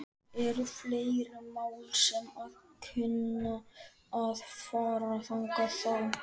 Eru fleiri mál sem að kunna að fara þangað þá?